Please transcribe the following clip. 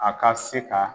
A ka se ka